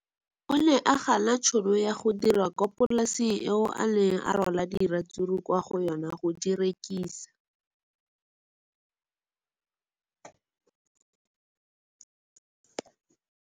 O ne a gana tšhono ya go dira kwa polaseng eo a neng rwala diratsuru kwa go yona go di rekisa.